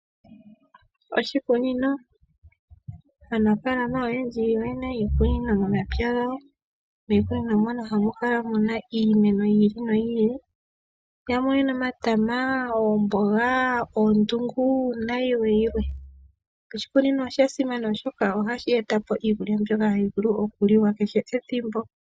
Oshikunino, aanafalama oyendji oye na iikunino momapya gawo miikunino mono ha mu kala mu na iimeno yiili no yiili yamwe oye na omatama, oomboga, oondungu nayilwe yilwe. Oshikuni osha simana oshoka oha shi etapo iikulya mbyoka hayi vulu okuliwa kehe ethimbo.